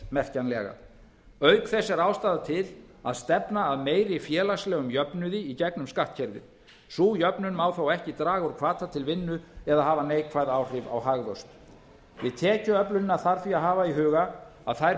merkjanlega auk þess er ástæða til að stefna að meiri félagslegum jöfnuði í gegnum skattkerfið sú jöfnun má þó ekki draga úr hvata til vinnu eða hafa neikvæð áhrif á hagvöxt við tekjuöflunina þarf því að hafa í huga að þær